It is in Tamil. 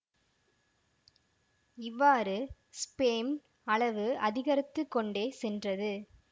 இவ்வாறு ஸ்பேம் அளவு அதிகரித்து கொண்டே சென்றது